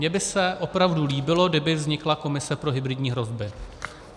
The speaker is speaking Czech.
Mně by se opravdu líbilo, kdyby vznikla komise pro hybridní hrozby.